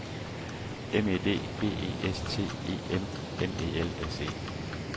M E D B E S T E M M E L S E